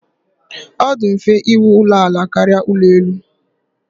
Ọ dị mfe íwú ụlọ ala karịa ụlọ elu.